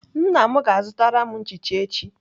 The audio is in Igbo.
Nna m ga-azụtara m nchicha echi.